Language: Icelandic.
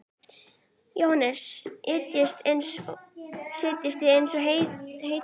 Jóhannes: Seljast eins og heitar lummur?